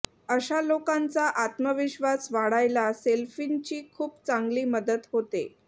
अशा लोकांचा आत्मविश्वास वाढायला सेल्फींची खूप चांगली मदत होते